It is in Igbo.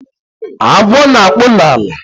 Agwo na-akpụ n'ala